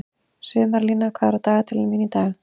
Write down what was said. Sumarlína, hvað er í dagatalinu mínu í dag?